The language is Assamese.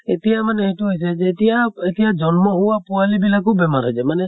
এতিয়া মানে এইটো হৈছে যেতিয়া এতিয়া জন্ম হোৱা পোৱালী বিলাকো বেমাৰ হৈ যায় মানে